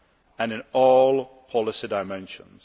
and in all policy dimensions.